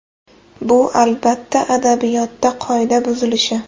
Bu, albatta, adabiyotda qoida buzilishi.